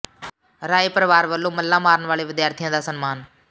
ਰਾਏ ਪਰਿਵਾਰ ਵੱਲੋਂ ਮੱਲਾਂ ਮਾਰਨ ਵਾਲੇ ਵਿਦਿਆਰਥੀਆਂ ਦਾ ਸਨਮਾਨ